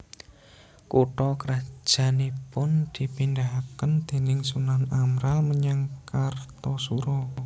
Kutha krajannipun dipindahaken déning Sunan Amral menyang Kartasura